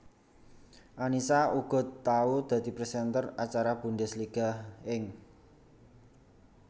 Annisa uga tau dadi presenter acara Bundesliga ing